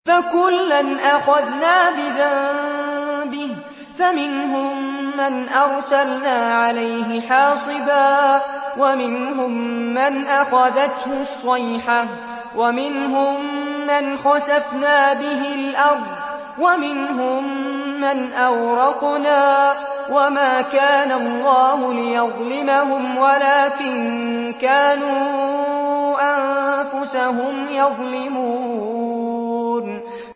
فَكُلًّا أَخَذْنَا بِذَنبِهِ ۖ فَمِنْهُم مَّنْ أَرْسَلْنَا عَلَيْهِ حَاصِبًا وَمِنْهُم مَّنْ أَخَذَتْهُ الصَّيْحَةُ وَمِنْهُم مَّنْ خَسَفْنَا بِهِ الْأَرْضَ وَمِنْهُم مَّنْ أَغْرَقْنَا ۚ وَمَا كَانَ اللَّهُ لِيَظْلِمَهُمْ وَلَٰكِن كَانُوا أَنفُسَهُمْ يَظْلِمُونَ